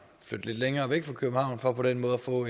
flytte lidt længere væk fra københavn for på den måde at få